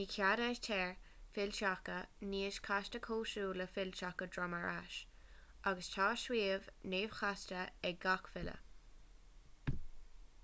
ní cheadaítear fillteacha níos casta cosúil le fillteacha droim ar ais agus tá suíomh neamhchasta ag gach filleadh